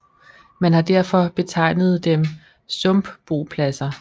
Man har derfor betegnet dem sumpbopladser